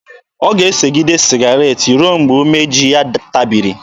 Ọ ga-esegide sịgaret ruo mgbe umeji ya tabiri.